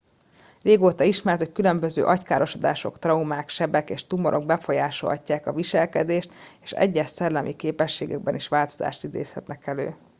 régóta ismert hogy különböző agykárosodások traumák sebek és tumorok befolyásolhatják a viselkedést és egyes szellemi képességekben is változást idézhetnek elő